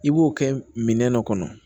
I b'o kɛ minɛn dɔ kɔnɔ